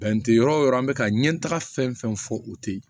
yɔrɔ o yɔrɔ an bɛ ka ɲɛ taga fɛn fɛn fɔ o tɛ ye